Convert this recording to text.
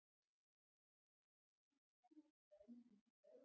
Eru þreifingar hafnar um ráðningu nýs þjálfara?